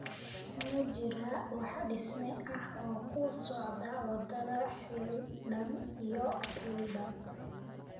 Ma jiraa wax dhisme ah oo ku socda wadada lixdan iyo lixdan?